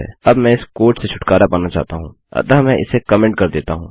अब मैं इस कोड से छुटकारा पाना चाहता हूँ अतः मैं इसे कमेन्ट कर देता हूँ